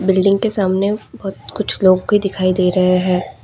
Building के सामने बहुत कुछ लोग भी दिखाई दे रहे हैं।